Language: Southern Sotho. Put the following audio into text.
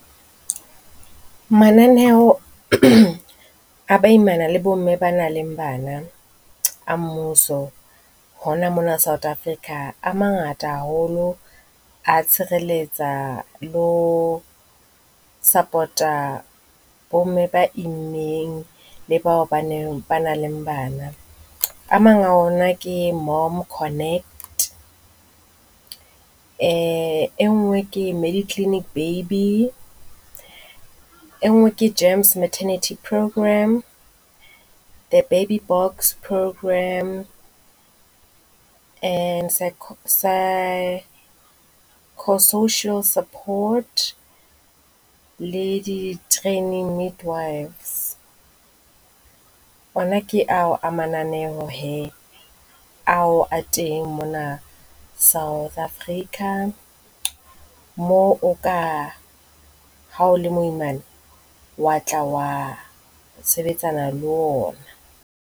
Mananeo a baimana le bomme ba nang le bana a mmuso ho na mona South Africa a mangata haholo. A tshireletsa, le ho support-a bomme ba immeng le bao ba neng ba nang le bana. A mang a ona ke Mom Connect. E nngwe ke Mediclinic Baby. E nngwe ke Gems Maternity Programme, the Baby Boks Programme and psychosocial support le di-training midwifes. Ona ke ao a mananeo hee ao a teng mona South Africa moo o ka ha o le moimana wa tla wa sebetsana le ona.